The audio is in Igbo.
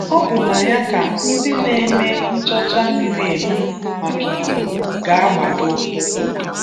Ọ bụ na ya ka ndị na-eme nchọcha miri emi maka Igbo ga-agbado ụkwụ.